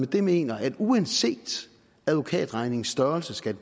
det mener at uanset advokatregningens størrelse skal